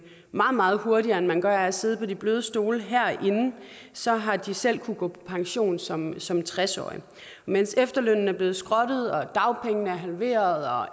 meget hurtigere end man gør af at sidde på de bløde stole herinde så har de selv kunnet gå på pension som som tres årige imens efterlønnen er blevet skrottet og dagpengene halveret